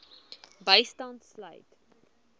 bystand sluit